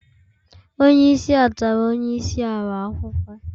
onye isi a tara onye isi ala ahuhu.